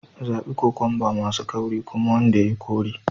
Zabi kokwamba masu ƙarfi kuma wanda ya yi kore